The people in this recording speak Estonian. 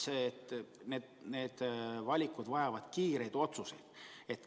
Need valikud vajavad kiireid otsuseid.